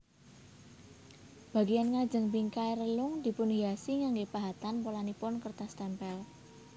Bagian ngajeng bingkai relung dipunhiasi nganggé pahatan polanipun kertas témpél